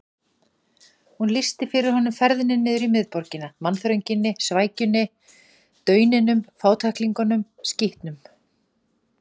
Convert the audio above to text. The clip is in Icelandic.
Hún lýsti fyrir honum ferðinni niður í miðborgina: mannþrönginni, svækjunni, dauninum, fátæklingunum, skítnum.